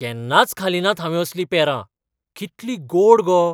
केन्नाच खालीं नात हांवें असलीं पेरां. कितलीं गोड गो!